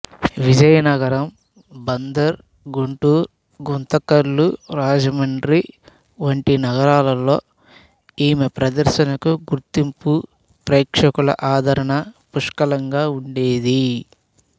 విజయనగరం బందరు గుంటూరు గుంతకల్లు రాజమండ్రి వంటి నగరాల్లో ఈమె ప్రదర్శనకు గుర్తింపు ప్రేక్షకుల ఆదరణ పుష్కలంగా ఉండేది